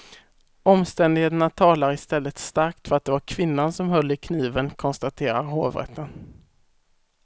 Omständigheterna talar i stället starkt för att det var kvinnan som höll i kniven, konstaterar hovrätten.